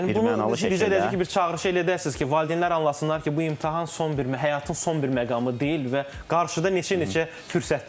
Yəni bunu üzr eləyəcək ki, bir çağırışı da edəsiniz ki, valideynlər anlasınlar ki, bu imtahan son bir həyatın son bir məqamı deyil və qarşıda neçə-neçə fürsətlər var.